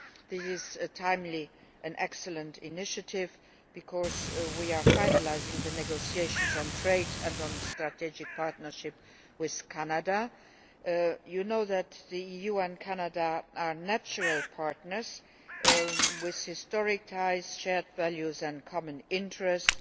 This is a timely and excellent initiative because we are finalising the negotiations on trade and on strategic partnership with Canada. You know that the EU and Canada are natural partners with historic ties, shared values and common interests.